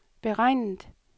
beregnet